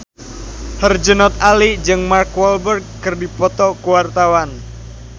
Herjunot Ali jeung Mark Walberg keur dipoto ku wartawan